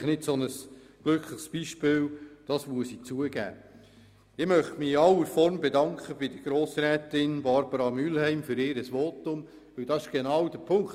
Ich möchte mich in aller Form bei Grossrätin Mühlheim für ihr Votum bedanken.